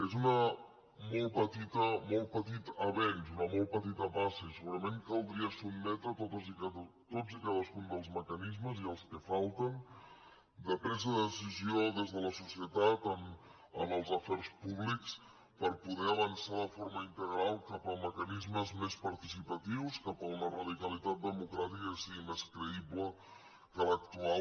és un molt petit avenç una molt petita passa i segurament caldria sotmetre tots i cadascun dels mecanismes i els que falten de presa de decisió des de la societat en els afers públics per poder avançar de forma integral cap a mecanismes més participatius cap a una radicalitat democràtica que sigui més creïble que l’actual